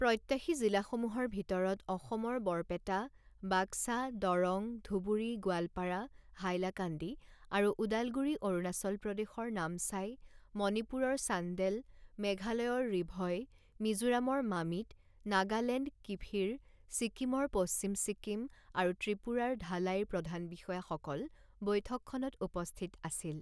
প্ৰত্যাশী জিলাসমূহৰ ভিতৰত অসমৰ বৰপেটা, বাক্সা, দৰং, ধুবুৰী, গোৱালপাৰা, হাইলাকান্দি আৰু ওদালগুৰি অৰুণাচল প্ৰদেশৰ নামচাই মণিপুৰৰ চান্দেল মেঘালয়ৰ ৰিভই মিজোৰামৰ মামিত নাগালেণ্ড কিফিৰ ছিক্কিমৰ পশ্চিম ছিক্কিম আৰু ত্ৰিপুৰাৰ ধালাইৰ প্ৰধান বিষয়াসকল বৈঠকখনত উপস্থিত আছিল।